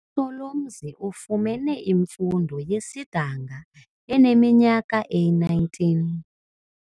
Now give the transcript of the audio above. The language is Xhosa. USolomzi ufumene imfundo yesidanga eneminyaka eli-19.